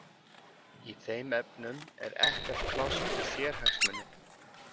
Í þeim efnum er ekkert pláss fyrir sérhagsmuni.